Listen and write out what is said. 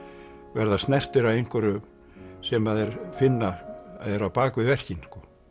verða snertir af einhverju sem að þeir finna er á bak við verkin